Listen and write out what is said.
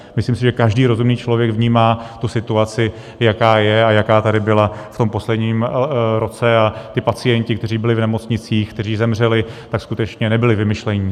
Myslím si, že každý rozumný člověk vnímá tu situaci, jaká je a jaká tady byla v tom posledním roce, a ti pacienti, kteří byli v nemocnicích, kteří zemřeli, tak skutečně nebyli vymyšlení.